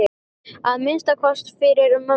Að minnsta kosti fyrir mömmu.